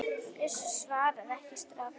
Bjössi svarar ekki strax.